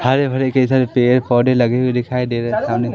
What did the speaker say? हरे भरे कई सारे पेड़ पौधे लगे हुए दिखाई दे रहे हैं सामने।